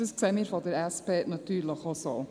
Das sehen wir von der SP natürlich auch so.